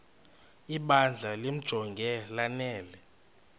ibandla limjonge lanele